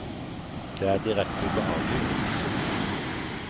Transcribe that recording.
Det er direkte ubehagelig å stikke hodet ut.